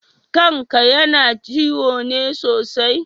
Kan ka yana ciwo ne sosai?